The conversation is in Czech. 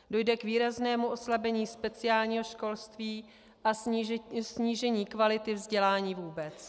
Dojde k výraznému oslabení speciálního školství a snížení kvality vzdělání vůbec.